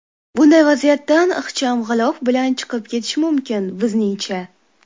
Bunday vaziyatdan ixcham g‘ilof bilan chiqib ketish mumkin, bizningcha.